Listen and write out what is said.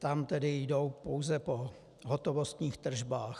Tam tedy jdou pouze po hotovostních tržbách.